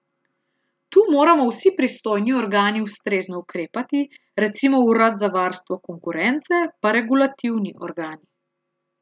Tu moramo vsi pristojni organi ustrezno ukrepati, recimo urad za varstvo konkurence pa regulativni organi.